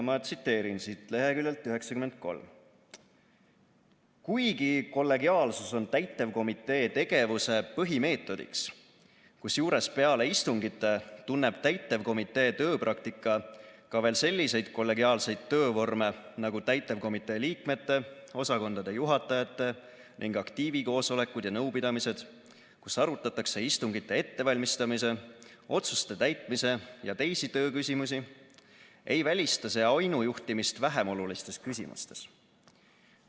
Ma loen leheküljelt 93: "Kuigi kollegiaalsus on täitevkomitee tegevuse põhimeetodiks, kusjuures peale istungite tunneb täitevkomitee tööpraktika ka veel selliseid kollegiaalseid töövorme, nagu täitevkomitee liikmete, osakondade juhatajate ning aktiivi koosolekud ja nõupidamised, kus arutatakse istungite ettevalmistamise, otsuste täitmise ja teisi tööküsimusi, ei välista see ainujuhtimist vähemolulistes küsimustes.